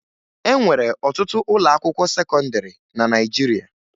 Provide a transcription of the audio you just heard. E nwere ọtụtụ ụlọakwụkwọ sekọndịrị na Naịjirịa